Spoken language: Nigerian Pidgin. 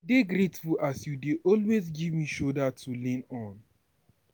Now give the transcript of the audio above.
dey grateful as you dey always give me shoulder to lay on.